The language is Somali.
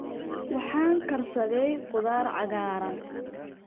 Waxaan karsaday khudaar cagaaran.